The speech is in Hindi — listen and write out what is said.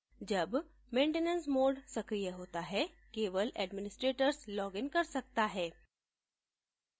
जब maintenance mode सक्रिय होता है केवल administrators login कर सकता है